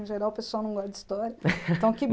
Em geral o pessoal não gosta de história então que